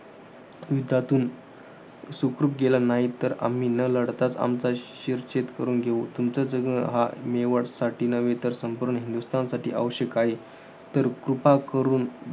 युद्धातून सुखरूप गेला नाही. तर आम्ही न लढताच आमचा शिरच्छेद करून घेऊ. तुमचं जगणं हा मेवाडसाठीच नव्हे तर संपूर्ण हिंदुस्थानसाठी आवश्यक आहे. तर कृपा करून,